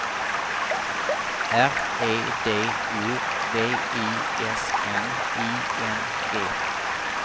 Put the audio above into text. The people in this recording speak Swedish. R E D O V I S N I N G